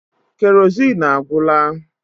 Kerozin agwụla